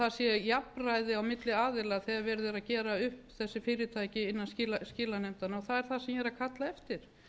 það sé jafnræði á milli aðila þegar verið er að gera upp þessi fyrirtæki innan skilanefndanna það er það sem ég er